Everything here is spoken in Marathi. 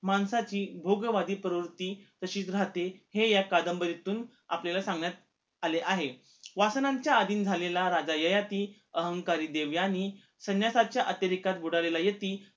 माणसाची भोगवादी प्रवृत्ती तशीच रहाते हे या कादंबरीतून आपल्याला सांगण्यात आले आहे वासनांच्या अधीन झालेला राजा ययाती, अहंकारी देवयानी, संन्यासाच्या अतिरेखात बुडालेला यती